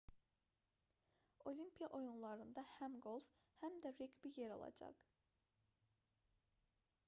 olimpiya oyunlarında həm qolf həm də reqbi yer alacaq